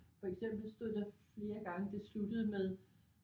For eksempel stod der flere gange det sluttede med